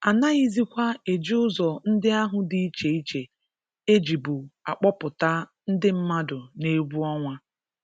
a naghizikwa eji ụzọ ndị ahụ dị iche iche e jibu akpọpụta ndị mmadụ n'egwu ọnwa